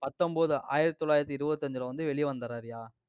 பத்தொன்பது, ஆயிரத்தி தொள்ளாயிரத்தி இருபத்தி அஞ்சுல வந்து, வெளிய வந்துடுறாருயா.